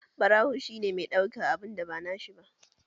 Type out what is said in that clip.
Ɓarawo shi ne mai ɗaukan abun da ba nashi ba